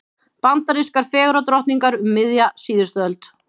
Bandarískar fegurðardrottningar um miðja síðustu öld.